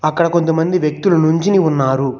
అక్కడ కొంత మంది వ్యక్తులు నుంచొని ఉన్నారు.